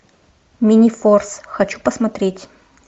минифорс хочу посмотреть